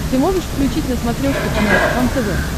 ты можешь включить на смотрешке канал кхлм тв